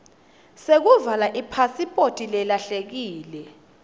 sekuvala ipasiphoti lelahlekile